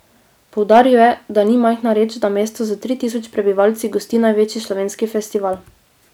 Poudaril je, da ni majhna reč, da mesto s tri tisoč prebivalci gosti največji slovenski festival.